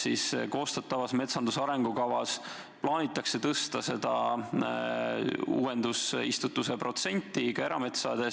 Kas koostatavas metsanduse arengukavas plaanitakse tõsta uuendusistutuse protsenti ka erametsades?